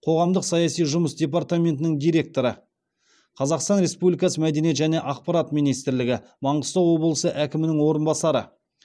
қоғамдық саяси жұмыс департаментінің директоры қазақстан республикасы мәдениет және ақпарат министрлігі маңғыстау облысы әкімінің орынбасары